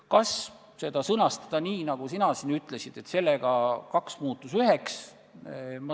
Kas sõnastada seda nii, nagu sina siin ütlesid, et kaks muutus üheks?